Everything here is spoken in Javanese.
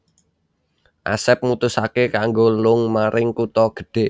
Asep mutusaké kanggo lung maring kutha gedhe